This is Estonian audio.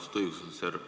Austatud õiguskantsler!